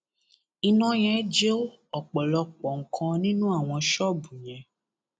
iná yẹn jó ọpọlọpọ nǹkan nínú àwọn ṣọọbù yẹn